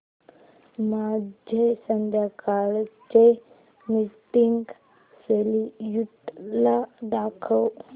माझे संध्याकाळ चे मीटिंग श्येड्यूल दाखव